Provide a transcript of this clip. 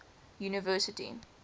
university